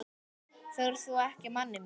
Þorir þú ekki, manni minn?